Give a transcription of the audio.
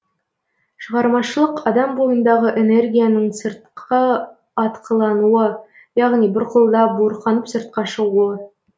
шығармашылық адам бойындағы энергияның сыртқы атқылануы яғни бұрқылдап буырқанып сыртқа шығуы